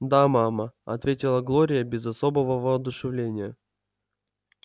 да мама ответила глория без особого воодушевления